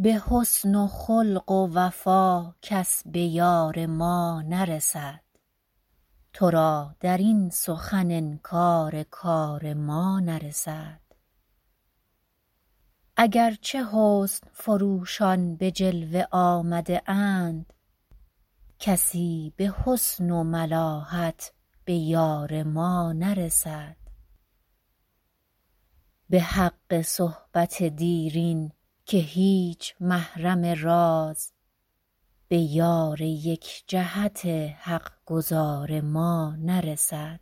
به حسن و خلق و وفا کس به یار ما نرسد تو را در این سخن انکار کار ما نرسد اگر چه حسن فروشان به جلوه آمده اند کسی به حسن و ملاحت به یار ما نرسد به حق صحبت دیرین که هیچ محرم راز به یار یک جهت حق گزار ما نرسد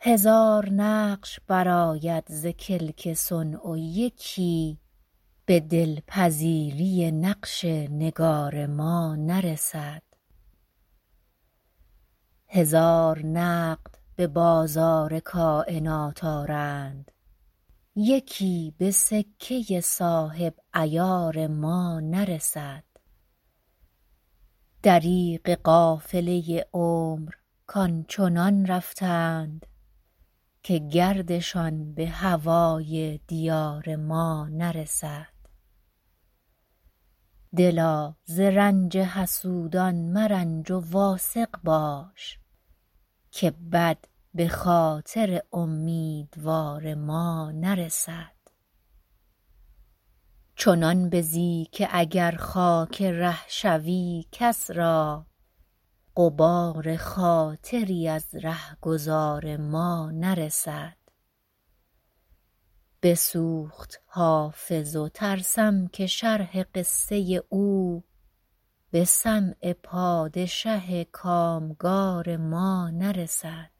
هزار نقش برآید ز کلک صنع و یکی به دل پذیری نقش نگار ما نرسد هزار نقد به بازار کاینات آرند یکی به سکه صاحب عیار ما نرسد دریغ قافله عمر کآن چنان رفتند که گردشان به هوای دیار ما نرسد دلا ز رنج حسودان مرنج و واثق باش که بد به خاطر امیدوار ما نرسد چنان بزی که اگر خاک ره شوی کس را غبار خاطری از ره گذار ما نرسد بسوخت حافظ و ترسم که شرح قصه او به سمع پادشه کام گار ما نرسد